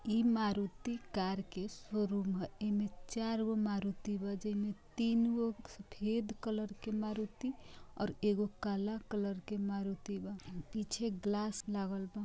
इ मारुती कार का शोरूम है इमे चार मारुती जेमे तीन सफ़ेद कलर के मारुती और एगो काला कलर के मारुती है पीछे ग्लास लागल बा।